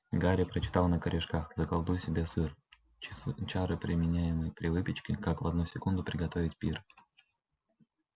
гарри прочитал на корешках заколдуй себе сыр чары применяемые при выпечке как в одну секунду приготовить пир